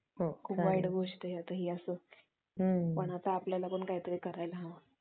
ओळखण्यासाठी आणि निदान करण्यासाठी doctor आज रक्ताचा नमुना घेऊ शकतात आणि जलद चाचण्यांद्वारे त्यांची चाचणी करू शकतात.